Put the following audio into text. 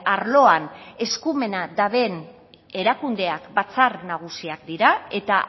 arloan eskumena duten erakundeak batzar nagusiak dira eta